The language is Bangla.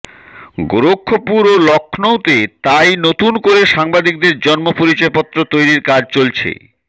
গোরক্ষপুর ও লক্ষৌতে তাই নতুন করে সাংবাদিকদের জন্য় পরিচয়পত্র তৈরির কাজ চলছে